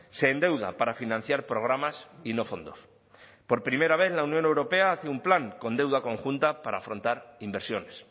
se endeuda para financiar programas y no fondos por primera vez la unión europea hace un plan con deuda conjunta para afrontar inversiones